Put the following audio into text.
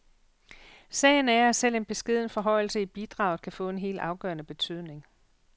Sagen er, at selv en beskeden forhøjelse i bidraget kan få en helt afgørende betydning.